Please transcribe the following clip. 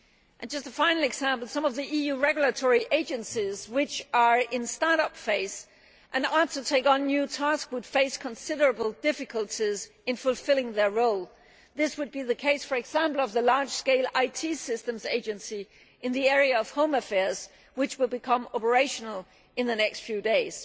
And just a final example some of the EU regulatory agencies which are in start up phase and are to take on new tasks would face considerable difficulties in fulfilling their role this would be the case for example with the large scale IT systems agency in the area of home affairs, which will become operational in the next few days.